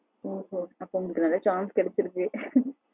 ஓகோ அப்போ உங்களுக்கு நெறைய chance கிடைச்சிருக்கு